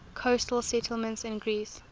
coastal settlements in greece